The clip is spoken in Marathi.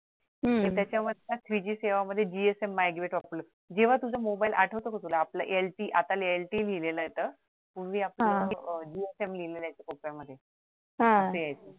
आणि त्याच्यामधनं three G सेवा मध्ये जेव्हा तुझा मोबाईल आठवतो का तुला आपल LTE आता LTE लिहिलेलं येतं पूर्वी आपला जिओ सिम लिहिलेले यायच